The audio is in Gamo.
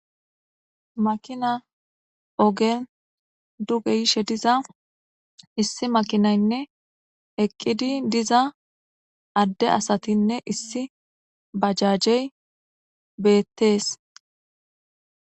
Makina ogen duge yishe diza issi makinaynne eqqidi diza adde asatinne issi bajajey beettees.